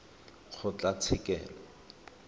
kgotlatshekelo